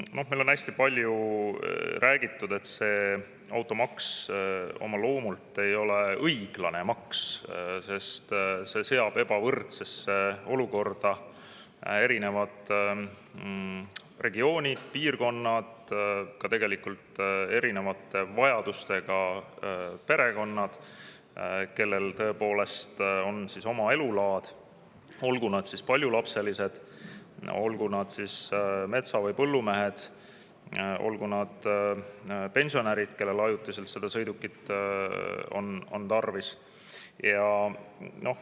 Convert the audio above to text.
Noh, meil on hästi palju räägitud sellest, et automaks oma loomult ei ole õiglane maks, sest see seab ebavõrdsesse olukorda erinevad piirkonnad, ka tegelikult erinevate vajadustega perekonnad, kellel on oma elulaad, olgu nad paljulapselised, olgu nad metsa- või põllumehed või olgu nad pensionärid, kellel on ajutiselt seda sõidukit tarvis.